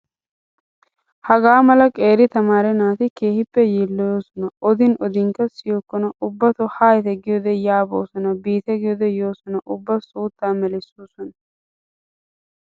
Hagaa mala qeeri tamaare naati keehippe yiilloyoosona. Odin odinkka siyokkona ubbatoo haayite giyoode yaa boosona biite giyoode yoosona ubba suutta melissoosona.